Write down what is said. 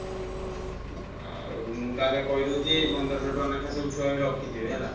ହୁଁ ହୁଁ ଆଉ ମୁଁ ତାହେଲେ କହି ଦଉଚି ପନ୍ଦରସହ ଟଙ୍କା ଲେଖା ସବୁ ଛୁଆ ବି ରଖିଥିବେ ହେଲା।